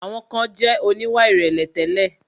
Àwọn kan jẹ̀ oníwà ìrẹ̀lẹ̀ tẹ́lẹ̀.